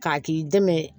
K'a k'i dɛmɛ